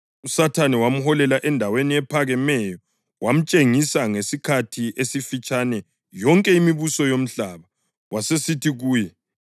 USathane wamholela endaweni ephakemeyo wamtshengisa ngesikhathi esifitshane yonke imibuso yomhlaba.